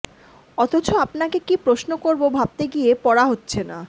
অথচ আপনাকে কী প্রশ্ন করব ভাবতে গিয়ে পড়া হচ্ছে না